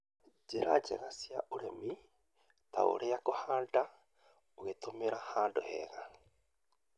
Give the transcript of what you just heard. njĩra njega cia ũrĩmi, ta ũrĩa kũhanda ũgĩtũmĩra handũ hega,